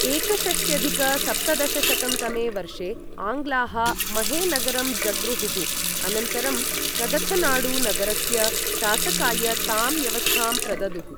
एकषष्ट्यधिक सप्तदशशतं तमे वर्षे आङ्ग्लाः महे नगरं जग्रुहुः अनन्तरं कदथनाडु नगरस्य शासकाय तां व्यवस्थां प्रददुः।